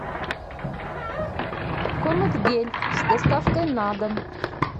комет гель с доставкой на дом